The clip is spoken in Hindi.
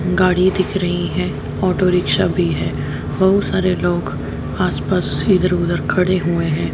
गाड़ी दिख रही है ऑटो रिक्शा भी है बहुत सारे लोग आसपास इधर उधर खड़े हुए हैं।